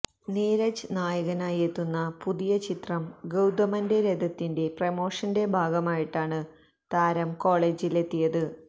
നീരജ് നായകനായി എത്തുന്ന പുതിയ ചിത്രം ഗൌതമന്റെ രഥത്തിന്റെ പ്രമോഷന്റെ ഭാഗമായിട്ടാണ് താരം കൊളെജില് എത്തിയത്